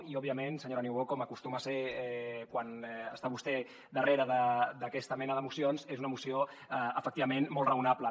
i òbviament senyora niubó com acostuma a ser quan està vostè darrere d’aquesta mena de mocions és una moció efectivament molt raonable